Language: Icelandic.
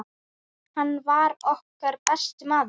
Hann var okkar besti maður.